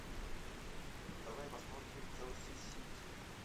давай посмотрим челси сити